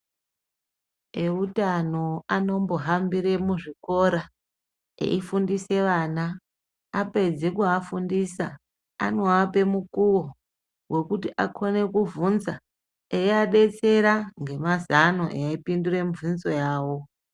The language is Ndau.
Eutano anombohambire muzvikora, eifundise vana. Apedze kuafundisa anoape mukuwo wekuti akone kubvunza, eiadetsera ngemazano eipindure mubvunzo yavo